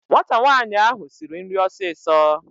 Nwata nwaanyị ahụ siri nri ọsịsọ